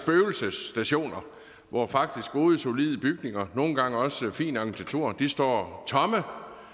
spøgelsesstationer hvor faktisk gode solide bygninger nogle gange også fin arkitektur står tomme